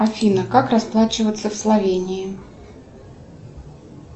афина как расплачиваться в словении